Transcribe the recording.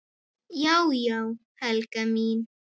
Já já, Helga mín.